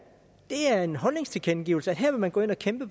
det er en holdningstilkendegivelse her vil man gå ind og kæmpe